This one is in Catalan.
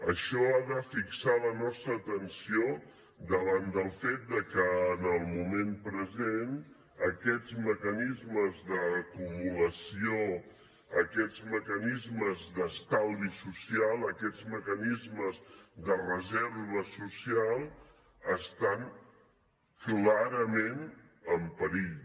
això ha de fixar la nostra atenció davant del fet que en el moment present aquests mecanismes d’acumulació aquests mecanismes d’estalvi social aquests mecanismes de reserva social estan clarament en perill